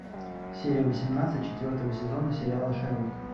серия восемнадцать четвертого сезона сериала шерлок